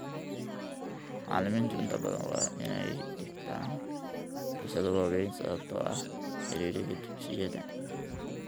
Macallimiintu inta badan waa inay dhigtaan xiisado waaweyn sababtoo ah ciriiriga dugsiyada.